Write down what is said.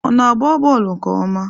Ọ na-agba bọọlụ nke ọma?